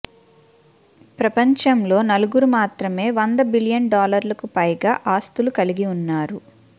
ప్రపంచంలో నలుగురు మాత్రమే వంద బిలయన్ డాలర్లకు పైగా ఆస్థులు కలిగి ఉన్నారు